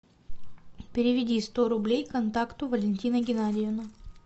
переведи сто рублей контакту валентина геннадьевна